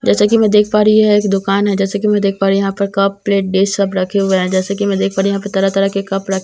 जैसा कि मैं देख पा रही हूं यह एक दुकान है जैसा कि मैं देख पा रही यहां पर कप प्लेट डेस्क सब रखे हुए हैं जैसे कि मैं देख पा रही हूं यहां पे तरह तरह के कप र--